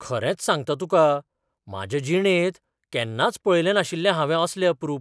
खरेंच सांगता तुका, म्हाजे जिणेंत केन्नाच पळयलें नाशिल्लें हावें असलें अप्रूप.